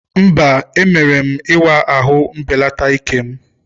Mba, emere m ịwa ahụ mbelata ike'm.